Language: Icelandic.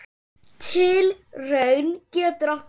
Tilraun getur átt við